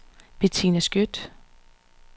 Bettina Skjødt